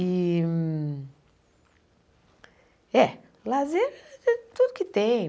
E... É, lazer é tudo que tem.